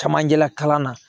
Camancɛla kalan na